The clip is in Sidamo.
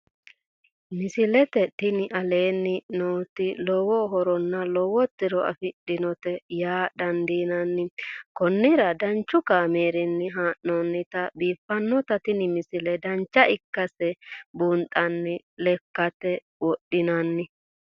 misile tini aleenni nooti lowo horonna lowo tiro afidhinote yaa dandiinanni konnira danchu kaameerinni haa'noonnite biiffannote tini misile dancha ikkase buunxanni lekkate wodhinanni